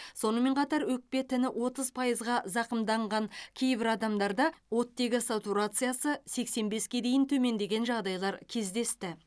сонымен қатар өкпе тіні отыз пайызға зақымданған кейбір адамдарда оттегі сатурациясы сексен беске дейін төмендеген жағдайлар кездесті